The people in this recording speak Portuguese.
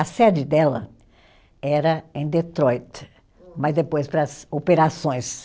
A sede dela era em Detroit, mas depois para as operações.